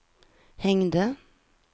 hängde